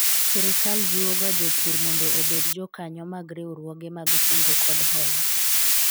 Sirikal jiwoga jopur mondo obed jokanyo mag riwruoge mag kungo kod hola